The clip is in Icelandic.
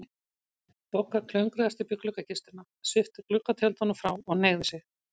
Bogga klöngraðist upp í gluggakistuna, svipti gluggatjöldunum frá og hneigði sig.